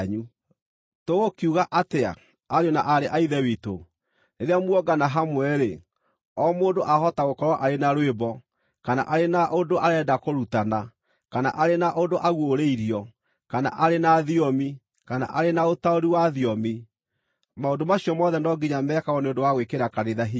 Tũgũkiuga atĩa, ariũ na aarĩ a Ithe witũ? Rĩrĩa muongana hamwe-rĩ, o mũndũ ahota gũkorwo arĩ na rwĩmbo, kana arĩ na ũndũ arenda kũrutana, kana arĩ na ũndũ aguũrĩirio, kana arĩ na thiomi, kana arĩ na ũtaũri wa thiomi. Maũndũ macio mothe no nginya mekagwo nĩ ũndũ wa gwĩkĩra kanitha hinya.